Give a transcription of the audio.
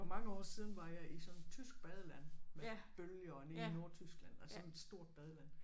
For mange år siden var jeg i sådan et tysk badeland med bølger og nede i Nordtyskland altså sådan stort badeland